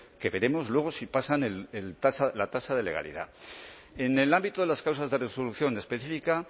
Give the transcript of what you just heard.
que veremos luego si pasan la tasa de legalidad en el ámbito de las causas de resolución específica